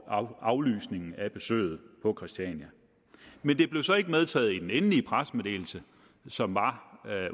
aflysningen af besøget på christiania men det blev så ikke medtaget i den endelige pressemeddelelse som var